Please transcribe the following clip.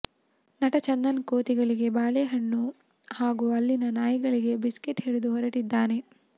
ನಟ ಚಂದನ್ ಕೋತಿಗಳಿಗೆ ಬಾಳೆ ಹಣ್ಣು ಹಾಗೂ ಅಲ್ಲಿನ ನಾಯಿಗಳಿಗೆ ಬಿಸ್ಕೆಟ್ ಹಿಡಿದು ಹೊರಟಿದ್ದಾರೆ